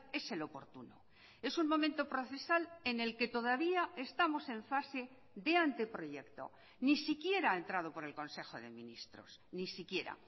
es el oportuno es un momento procesal en el que todavía estamos en fase de anteproyecto ni siquiera ha entrado por el consejo de ministros ni siquiera